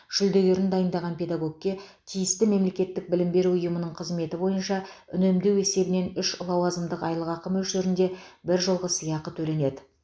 жүлдегерін дайындаған педагогке тиісті мемлекеттік білім беру ұйымының қызметі бойынша үнемдеу есебінен үш лауазымдық айлықақы мөлшерінде біржолғы сыйақы төленеді